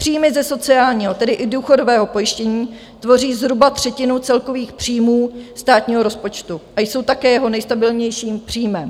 Příjmy ze sociálního, tedy i důchodového, pojištění tvoří zhruba třetinu celkových příjmů státního rozpočtu a jsou také jeho nejstabilnějším příjmem.